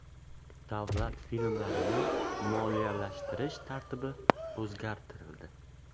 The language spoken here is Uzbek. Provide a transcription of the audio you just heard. Davlat filmlarini moliyalashtirish tartibi o‘zgartirildi.